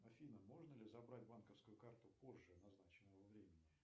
афина можно ли забрать банковскую карту позже назначенного времени